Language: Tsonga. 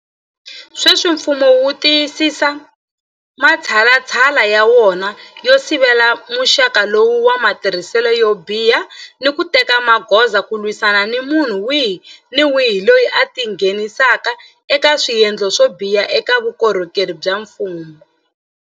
Sweswi mfumo wu tiyisisa matshalatshala ya wona yo sivela muxaka lowu wa matirhiselo yo biha ni ku teka magoza ku lwisana ni munhu wihi ni wihi loyi a tingheni saka eka swendlo swo biha eka vukorhokeri bya mfumo.